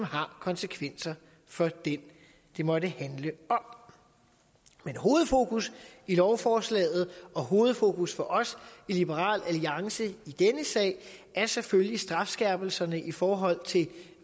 har konsekvenser for den det måtte handle om men hovedfokus i lovforslaget og hovedfokus for os i liberal alliance i denne sag er selvfølgelig strafskærpelserne i forhold til